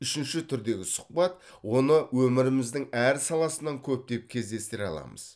үшінші түрдегі сұхбат оны өміріміздің әр саласынан көптеп кездестіре аламыз